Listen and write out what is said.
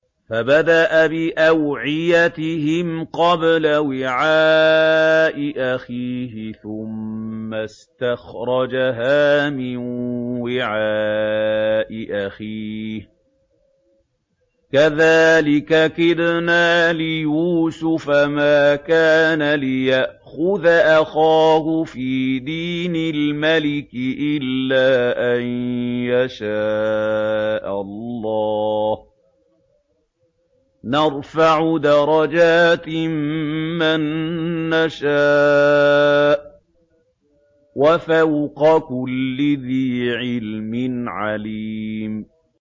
فَبَدَأَ بِأَوْعِيَتِهِمْ قَبْلَ وِعَاءِ أَخِيهِ ثُمَّ اسْتَخْرَجَهَا مِن وِعَاءِ أَخِيهِ ۚ كَذَٰلِكَ كِدْنَا لِيُوسُفَ ۖ مَا كَانَ لِيَأْخُذَ أَخَاهُ فِي دِينِ الْمَلِكِ إِلَّا أَن يَشَاءَ اللَّهُ ۚ نَرْفَعُ دَرَجَاتٍ مَّن نَّشَاءُ ۗ وَفَوْقَ كُلِّ ذِي عِلْمٍ عَلِيمٌ